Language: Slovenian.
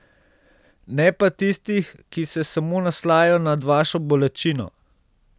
Ne pa tistih, ki se samo naslajajo nad vašo bolečino.